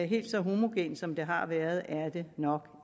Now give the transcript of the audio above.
helt så homogent som det har været er det nok